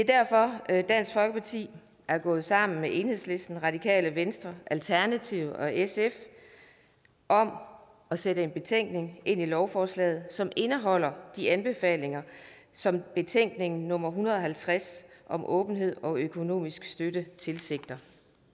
derfor er dansk folkeparti gået sammen med enhedslisten radikale venstre alternativet og sf om at sætte en betænkning ind i lovforslaget som indeholder de anbefalinger som betænkning nummer en hundrede og halvtreds om åbenhed og økonomisk støtte tilsigter